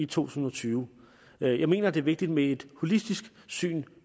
tusind og tyve jeg mener det er vigtigt med et holistisk syn